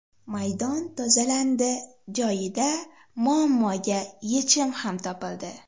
Maydon tozalandi, joyida muammoga yechim ham topildi.